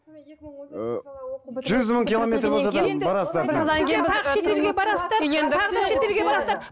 жүз мың километр болса да